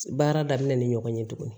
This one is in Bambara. Baara daminɛ ni ɲɔgɔn ye tuguni